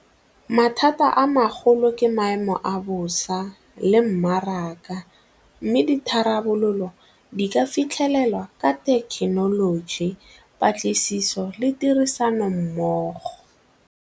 Mathata a magolo ke maemo a bosa le mmaraka mme ditharabololo di ka fitlhelelwa ka thekenoloji, patlisiso le tirisanommogo.